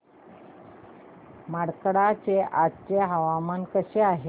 मार्कंडा चे आजचे हवामान कसे आहे